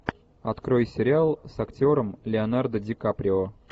открой сериал с актером леонардо ди каприо